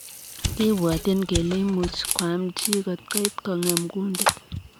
Kibwatchin kelee imuchii koam chii kotkoit kongeem kundiit.